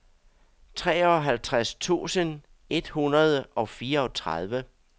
treoghalvtreds tusind et hundrede og fireogtredive